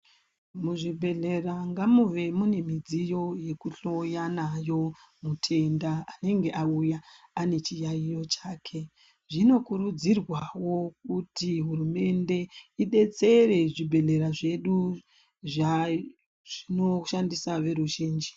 Muzvibhedhlera ngamuve munemidziyo yekuhloya nayo mutenda anenge awuya, anechiyayiyo chake. Zvinokurudzirwawo kuti hurumende idetsere zvibhedhlera zvedu zvazvinoshandisa veruzhinji.